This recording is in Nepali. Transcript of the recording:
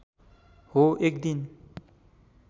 हो एक दिन